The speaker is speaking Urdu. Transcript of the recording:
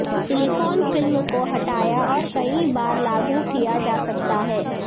سلیکون فلم کو ہٹایا اور کئی بار لاگو کیا جا سکتا ہے